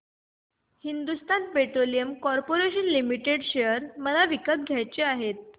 Hindustan petroleum corporation limited share मला विकत घ्यायचे आहेत